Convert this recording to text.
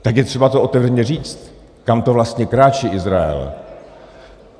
Tak je třeba to otevřeně říct, kam to vlastně kráčí Izrael.